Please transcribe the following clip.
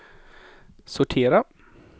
sortera